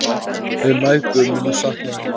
Við mæðgur munum sakna þín.